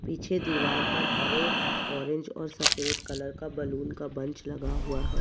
पीछे दीवार पर हरे ऑरेंज और सफ़ेद कलर का बैलून का बंच लगा हुआ है।